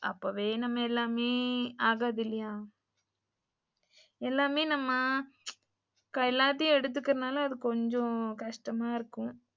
அப்போவே நம்ம எல்லாமே ஆகாது இல்லையா, எல்லாமே நம்ம எல்லாத்தையும் எடுத்துக்குற நாலா அது கொஞ்சம் கஷ்டமாயிருக்கும்.